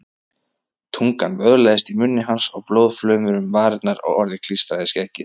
Tungan vöðlaðist í munni hans og blóðflaumur um varirnar og orðið klístrað skeggið.